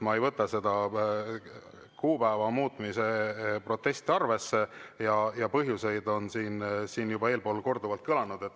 Ma ei võta seda protesti kuupäeva muutmise vastu arvesse, selle põhjused on siin juba korduvalt kõlanud.